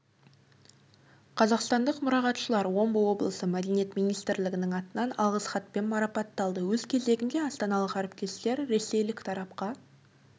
қазақстандық мұрағатшылар омбы облысы мәдениет министрлігінің атынан алғыс хатпен марапатталды өз кезегінде астаналық әріптестер ресейлік тарапқа